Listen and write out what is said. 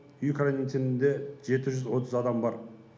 үй карантинінде жеті жүз отыз адам бар